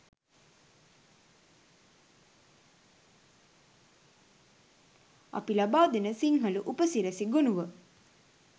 අප ලබාදෙන සිංහල උපසිරැසි ගොණුව